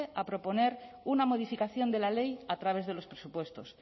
a proponer una modificación de la ley a través de los presupuestos